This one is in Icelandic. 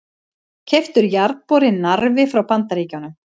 Keyptur jarðborinn Narfi frá Bandaríkjunum.